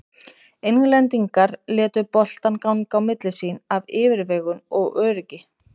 Englendingar létu boltann ganga á milli sín af yfirvegun og öryggi.